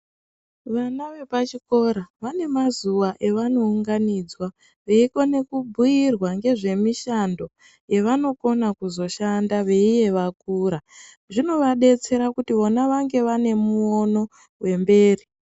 Vana vepachikora vanemazuva evanowunganidzwa, veyikone kubhuyirwa ngezvemishando yevanokona kuzoshanda veyiye vakura. Zvinovadetsera kuti vana vange vanemuwono wemberi.